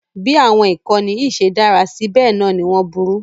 Bí àwọn ìkànnì yìí ṣe dára sí bẹ́ẹ̀ náà ni wọ́n burú